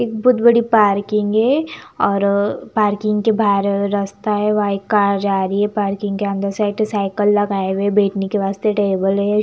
एक बहोत बड़ी पार्किंग है और पार्किंग के बहार रास्ता है वाइट कार जा रही है पार्किंग के अंदर एक दो साइकिल लगा है बैठने के वास्ते टेबल है।